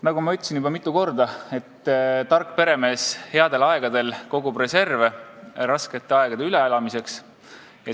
Nagu ma juba mitu korda ütlesin: tark peremees kogub headel aegadel reserve raskete aegade üleelamiseks.